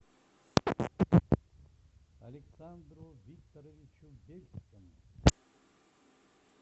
александру викторовичу бельскому